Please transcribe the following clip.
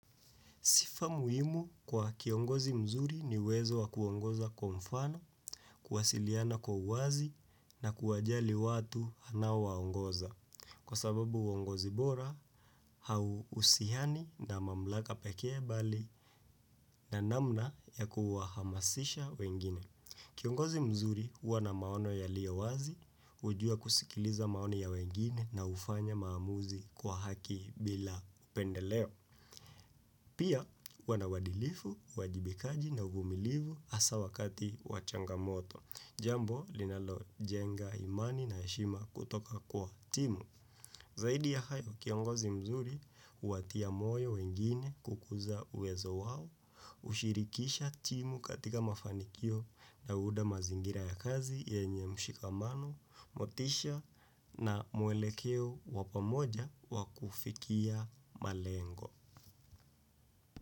Sifa muhimu kwa kiongozi mzuri ni uwezo wakuongoza kwa mfano, kuwasiliana kwa uwazi na kuwajali watu anaowaongoza. Kwa sababu uongozi bora, hauhusian na mamlaka peke bali na namna ya kuwahamasisha wengine. Kiongozi mzuri huwa na maono yaliowazi, ujua kusikiliza maoni ya wengine na kufanya maamuzi kwa haki bila upendeleo. Pia, huwa na uwadilifu, uwajibikaji na uvumilivu asa wakati wa changamoto. Jambo, linalo jenga imani na heshima kutoka kwa timu. Zaidi ya hayo, kiongozi mzuri, uwatia moyo wengine kukuza uwezo wao, ushirikisha timu katika mafanikio na huunda mazingira ya kazi yenye mshikamano, motisha na mwelekeo wa pamoja wa kufikia malengo.